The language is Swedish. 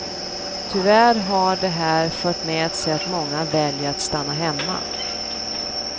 Tyvärr har det här fört med sig att många väljer att stanna hemma.